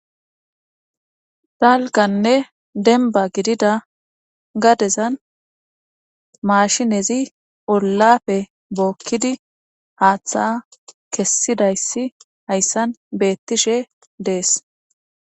Dalganne denba gidida gadezan maashinezi ollafe bookkidi haaththa kessidayssi hayssan beettishe dees